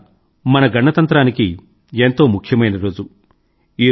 ముఖ్యంగా మన గణతంత్రానికి ఎంతో ముఖ్యమైన రోజు